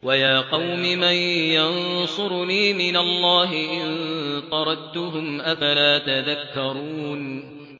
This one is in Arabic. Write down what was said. وَيَا قَوْمِ مَن يَنصُرُنِي مِنَ اللَّهِ إِن طَرَدتُّهُمْ ۚ أَفَلَا تَذَكَّرُونَ